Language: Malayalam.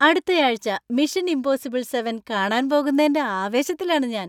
അടുത്തയാഴ്ച മിഷൻ ഇംപോസിബിൾ സെവൻ കാണാൻ പോകുന്നേന്‍റെ ആവേശത്തിലാണ് ഞാന്‍.